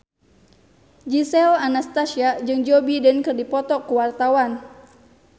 Gisel Anastasia jeung Joe Biden keur dipoto ku wartawan